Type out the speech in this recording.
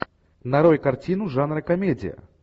нарой картину жанра комедия